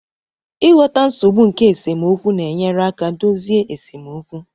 Ịghọta nsogbu nke esemokwu na-enyere aka dozie esemokwu